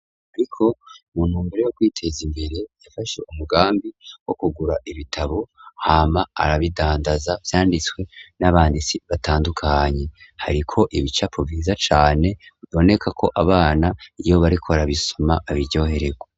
Ariko mu ntumbero yo kwiteza imbere yafashe umugambi wo kugura ibitabo hama arabidandaza vyanditswe n'abanditsi batandukanye hariko ibicapo vyiza cane bibonekako abana iyo bariko barabisoma babiryohererwa.